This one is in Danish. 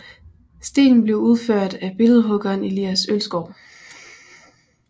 Stenen blev udført af billedhuggeren Elias Ølsgaard